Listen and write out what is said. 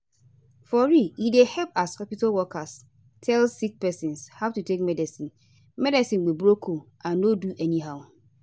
for real e dey help as hospitol workers tell sick pesin how to take medicine medicine with broken and no do anyhow